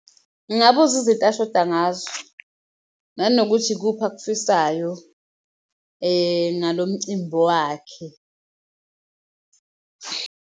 Ngingabuza izinto ashoda ngazo nanokuthi ikuphi akufisayo ngalo mcimbi wakhe.